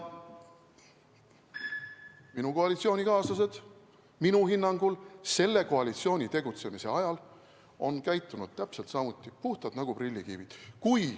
Minu koalitsioonikaaslased on minu hinnangul selle koalitsiooni tegutsemise ajal käitunud täpselt samuti, nad on puhtad nagu prillikivi.